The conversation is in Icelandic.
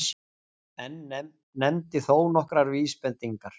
En nefndi þó nokkrar vísbendingar